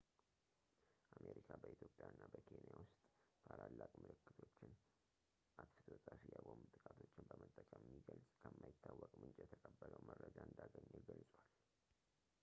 አሜሪካ በኢትዮጵያ እና በኬንያ ውስጥ ታላላቅ ምልክቶችን አጥፍቶ ጠፊ የቦምብ ጥቃቶችን በመጠቀም የሚገልጽ ከማይታወቅ ምንጭ የተቀበለው መረጃ እንዳገኘ ገልጿል